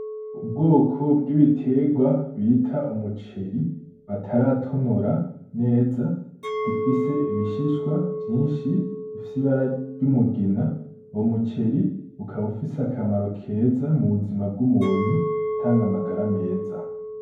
Ubwoko bw'ibiterwa bita umuceri bataratonora neza gifise ibishishwa vyinshi bifise ibara ry'umugina , umuceri ukaba unfise akamaro keza mu buzima bw'umuntu gutanga amagara meza.